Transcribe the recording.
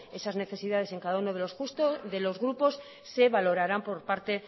esas necesidades en cada uno de los grupos se valorarán por parte